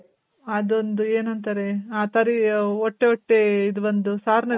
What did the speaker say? ಅದೊಂದು ಏನಂತಾರೆ ಆ ತರಿ ಒಟ್ಟೊಟ್ಟೆ ಇದ್ ಬಂದ್